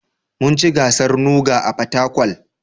Mun ci gasar NUGA a Fatakwal